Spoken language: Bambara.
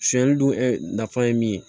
Sonyali dun ɛ nafa ye min ye